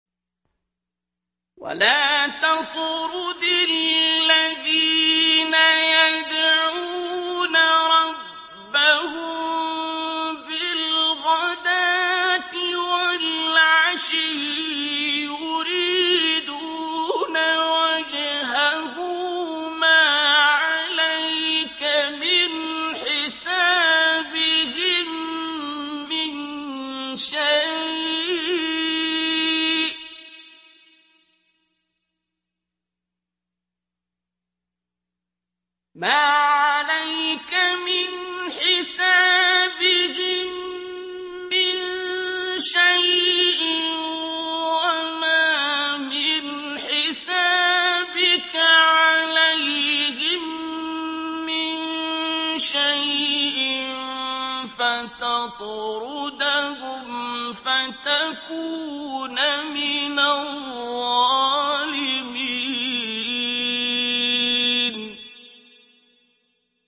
وَلَا تَطْرُدِ الَّذِينَ يَدْعُونَ رَبَّهُم بِالْغَدَاةِ وَالْعَشِيِّ يُرِيدُونَ وَجْهَهُ ۖ مَا عَلَيْكَ مِنْ حِسَابِهِم مِّن شَيْءٍ وَمَا مِنْ حِسَابِكَ عَلَيْهِم مِّن شَيْءٍ فَتَطْرُدَهُمْ فَتَكُونَ مِنَ الظَّالِمِينَ